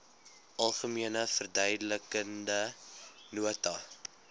algemene verduidelikende nota